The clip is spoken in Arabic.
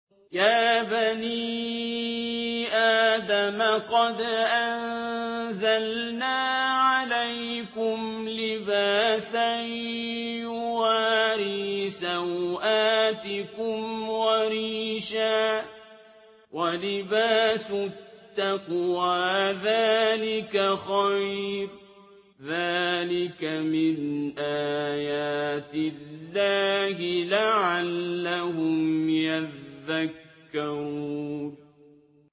يَا بَنِي آدَمَ قَدْ أَنزَلْنَا عَلَيْكُمْ لِبَاسًا يُوَارِي سَوْآتِكُمْ وَرِيشًا ۖ وَلِبَاسُ التَّقْوَىٰ ذَٰلِكَ خَيْرٌ ۚ ذَٰلِكَ مِنْ آيَاتِ اللَّهِ لَعَلَّهُمْ يَذَّكَّرُونَ